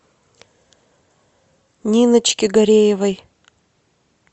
ниночки гареевой